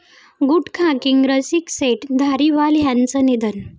गुटखाकिंग रसिकशेठ धारीवाल यांचं निधन